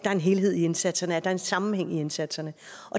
er en helhed i indsatserne at der er en sammenhæng i indsatserne